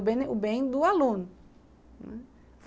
O bem do aluno.